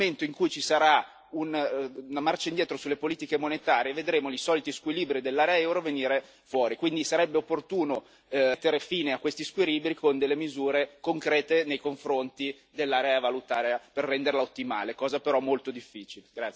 Nel momento in cui ci sarà una marcia indietro sulle politiche monetarie vedremo i soliti squilibri dell'area euro venire fuori, quindi sarebbe opportuno mettere fine a questi squilibri con misure concrete nei confronti dell'area valutaria per renderla ottimale, cosa però molto difficile.